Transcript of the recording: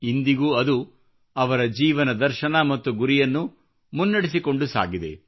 ಇಂದಿಗೂ ಅದು ಅವರ ಜೀವನದರ್ಶನ ಮತ್ತು ಗುರಿಯನ್ನು ಮುನ್ನಡೆಸಿಕೊಂಡು ಸಾಗಿದೆ